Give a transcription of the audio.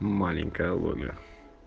маленькая лоля